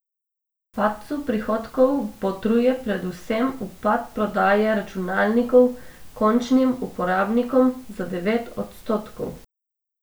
Padcu prihodkov botruje predvsem upad prodaje računalnikov končnim uporabnikom za devet odstotkov.